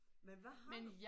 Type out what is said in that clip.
Men hvad har du